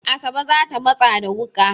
Asabe za ta matsa da wuƙa.